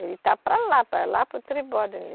Ele está para lá, para lá para o Tribódono.